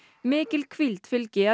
mikil hvíld fylgi